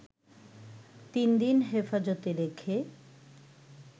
তিন দিন হেফাজতে রেখে